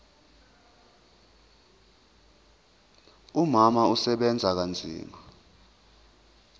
umama usebenza kanzima